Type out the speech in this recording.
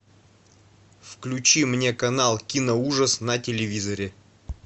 включи мне канал киноужас на телевизоре